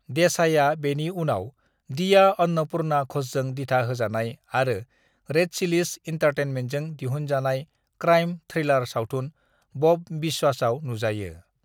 देसाईआ बेनि उनाव दीया अन्नपुर्णा घ'षजों दिथा होजानाय आरो रेड चिलीज एन्टारटेन्टमेनजों दिहुनजानाय क्राइम थ्रिलार सावथुन बब बिस्वासआव नुजायो।